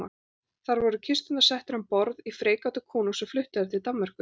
Þar voru kisturnar settar um borð í freigátu konungs sem flutti þær til Danmerkur.